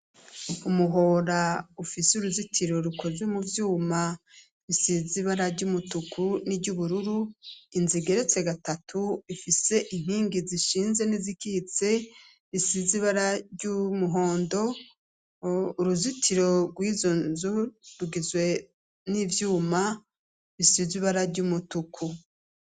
Umuhora ufise uruzitiro rukozwe mu vyuma bisizibara ry'umutuku n'iry'ubururu inzigeretse gatatu ifise inkingi zishinze n'izikitse isizibara ry'umuhondo uruzitiro rw'izonzu rugizwe n'ivyuma bisizu ibara ry'umutuku.